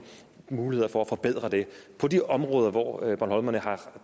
muligheder for at forbedre det på de områder hvor bornholmerne har